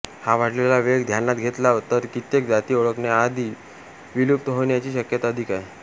हा वाढलेला वेग ध्यानात घेतला तर कित्येक जाति ओळखण्याआधी विलुप्त होण्याची शक्यता अधिक आहे